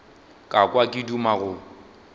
ka kwa ke duma go